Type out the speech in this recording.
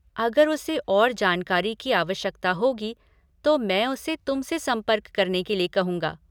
अगर उसे और जानकारी की आवश्यकता होगी तो मैं उसे तुम से संपर्क करने के लिए कहूँगा।